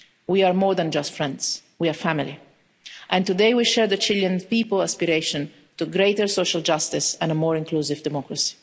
We are more than just friends, we are family and today we share the Chilean people's aspiration to greater social justice and a more inclusive democracy.